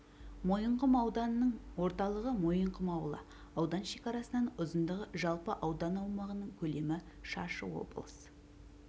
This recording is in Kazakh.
мойынқұм ауданының орталығы мойынқұм ауылы аудан шекарасының ұзындығы жалпы аудан аумағының көлемі шаршы облыс